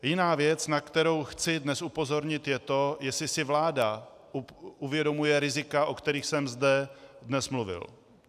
Jiná věc, na kterou chci dnes upozornit, je to, jestli si vláda uvědomuje rizika, o kterých jsem zde dnes mluvil.